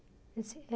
Ele disse, é.